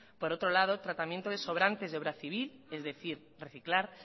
por otro lado tratamiento de sobrantes de obra civil es decir reciclar